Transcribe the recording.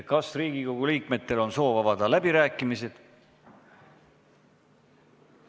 Kas Riigikogu liikmetel on soovi avada läbirääkimisi?